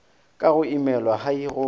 ka go imelwa hai go